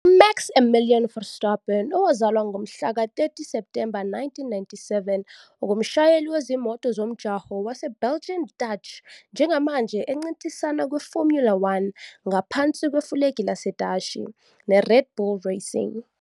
UMax Emilian Verstappen, owazalwa ngomhlaka 30 Septhemba 1997, ungumshayeli wezimoto zomjaho waseBelgian-Dutch njengamanje encintisana kwiFormula One, ngaphansi kwefulegi laseDashi, neRed Bull Racing.